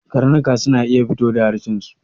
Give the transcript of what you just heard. Karnuka sun iya fito da harshen su